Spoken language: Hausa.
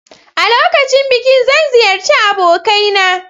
A lokacin bikin zan ziyarci abokaina.